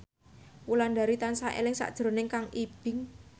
Wulandari tansah eling sakjroning Kang Ibing